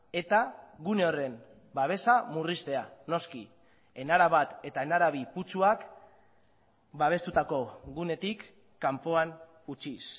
eta gune horren babesa murriztea noski enara bat eta enara bi putzuak babestutako gunetik kanpoan utziz